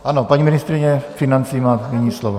Ano, paní ministryně financí má první slovo.